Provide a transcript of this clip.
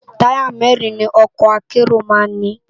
Tàyá mèrin ni òkò àkéró má n ni